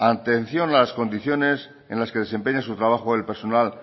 atención a las condiciones en las que desempeña su trabajo el personal